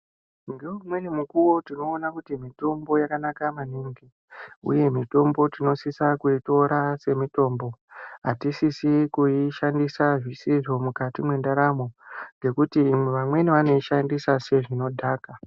Ngeimweni mukuwo tinoone kuti mitombo yakanaka maningi uye mitombo tinosisa kuitora semitombo atisisi kuishandisa zvisizvo mukati mendaramo ngekuti vamweni vanoshandisa sezvinodhaka .